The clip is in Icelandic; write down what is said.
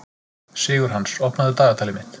Sigurhans, opnaðu dagatalið mitt.